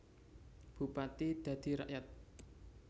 Bupati dadi rakyat